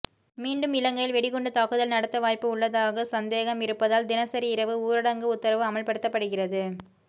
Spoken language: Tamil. மீண்டும் இலங்கையில் வெடிகுண்டு தாக்குதல் நடத்த வாய்ப்பு உள்ளதாக சந்தேகம் இருப்பதால் தினசரி இரவு ஊரடங்கு உத்தரவு அமல்படுத்தப்படுகிறது